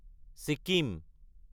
Sikkim